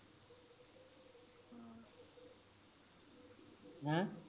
ਹੈਂ